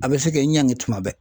A bɛ se k'e ɲangi tuma bɛɛ.